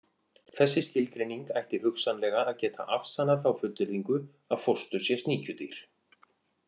Þessi skilgreining ætti hugsanlega að geta afsannað þá fullyrðingu að fóstur sé sníkjudýr.